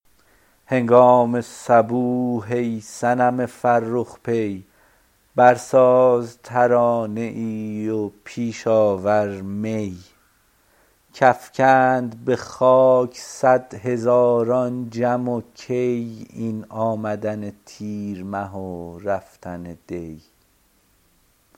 هنگام صبوح ای صنم فرخ پی برساز ترانه ای و پیش آور می کافکند به خاک صد هزاران جم و کی این آمدن تیرمه و رفتن دی